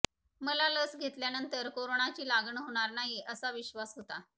मला लस घेतल्यानंतर कोरोनाची लागण होणार नाही असा विश्वास होता